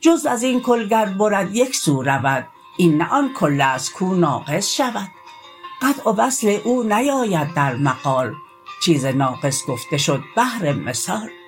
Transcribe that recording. جزو ازین کل گر برد یکسو رود این نه آن کلست کو ناقص شود قطع و وصل او نیاید در مقال چیز ناقص گفته شد بهر مثال